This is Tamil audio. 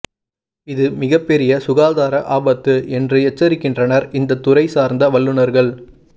இது மிகப்பெரிய சுகாதார ஆபத்து என்று எச்சரிக்கின்றனர் இந்த துறை சார்ந்த வல்லுநர்கள்